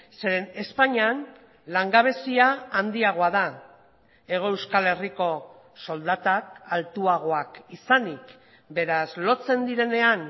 zeren espainian langabezia handiagoa da hego euskal herriko soldatak altuagoak izanik beraz lotzen direnean